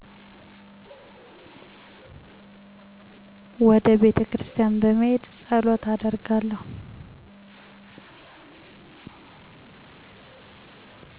ወደ ቤተክርስቲያን በመሄድ ፀሎት አደርጋለሁ።